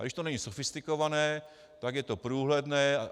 A když to není sofistikované, tak je to průhledné.